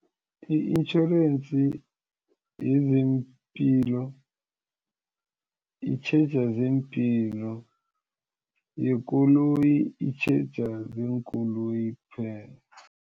I-iintjhorensi yezeempilo itjheja zeempilo yekoloyi itjheja zenkoloyi kuphela.